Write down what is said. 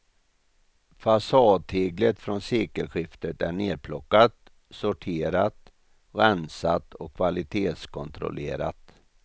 Fasadteglet från sekelskiftet är nerplockat, sorterat, rensat och kvalitetskontrollerat.